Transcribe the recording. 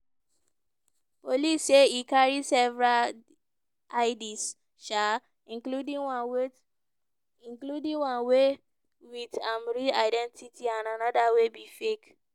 police say e carry several ids um including one wey including one wey wit im real identity and anoda wey be fake.